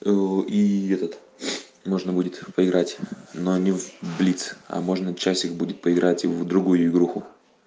о и этот можно будет поиграть но не в блиц а можно часик будет поиграть и в другую игруху